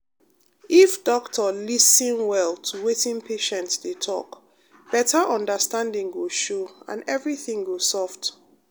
if doctor lis ten well to wetin patient dey talk better understanding go show and everything go soft.